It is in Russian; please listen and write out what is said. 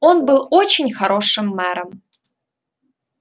он был очень хорошим мэром